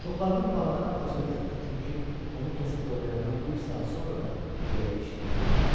Çoxlarının bağadan acığı gəlirdi, çünki onu kəsib doğrayandan bir saat sonra da ürəyi işləyir.